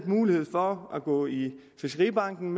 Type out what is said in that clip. mulighed for at gå i fiskeribanken